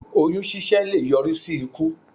Oyún ṣíṣẹ́ leè yọrí í sí ikú